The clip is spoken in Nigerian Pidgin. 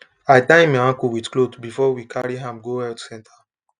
i tie him ankle with cloth before we carry am go health center